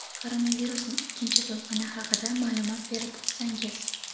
Koronavirusning ikkinchi to‘lqini haqida ma’lumot berib o‘tsangiz?.